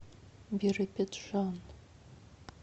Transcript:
биробиджан